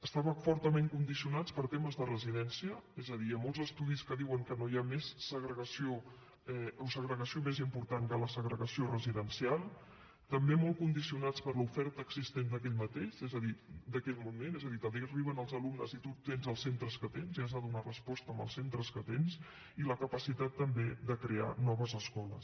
estaven fortament condicionats per temes de residència és a dir hi ha molts estudis que diuen que no hi ha segregació més important que la segregació residencial també molt condicionats per l’oferta existent d’aquell moment és a dir t’arriben els alumnes i tu tens els centres que tens i hi has de donar resposta amb els centres que tens i per la capacitat també de crear noves escoles